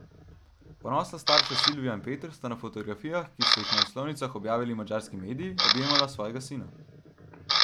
Ponosna starša Silvija in Peter sta na fotografijah, ki so jih na naslovnicah objavili madžarski mediji, objemala svojega sina.